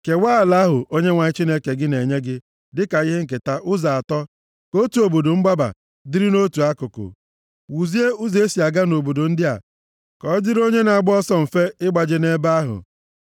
Kewaa ala ahụ Onyenwe anyị Chineke gị na-enye gị dịka ihe nketa ụzọ atọ ka otu obodo mgbaba dịrị nʼotu akụkụ. Wuzie ụzọ e si aga nʼobodo ndị a ka ọ dịrị onye na-agba ọsọ mfe ịgbaje nʼebe ahụ.